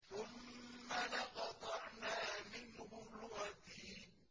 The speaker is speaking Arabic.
ثُمَّ لَقَطَعْنَا مِنْهُ الْوَتِينَ